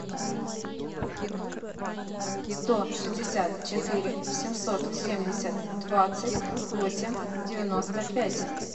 сто шестьдесят четыре семьсот семьдесят двадцать восемь девяносто пять